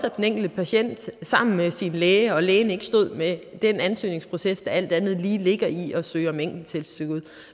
at den enkelte patient er sammen med sin læge og at lægen ikke står med den ansøgningsproces der alt andet lige ligger i at søge om enkelttilskud